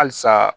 Halisa